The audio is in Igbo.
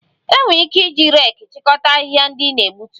E nwere ike iji reeki chịkọta ahịhịa ndị ị na-egbutu